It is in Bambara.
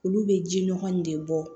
Olu bɛ ji nɔgɔ in de bɔ